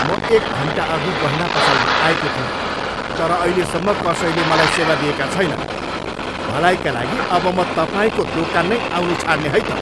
म एक घन्टाअघि गहना पसलमा आएको थिएँ तर अहिलेसम्म कसैले मलाई सेवा दिएका छैनन्। भलाइका लागि अब म तपाईँको दोकान नै आउनु छाड्ने है त।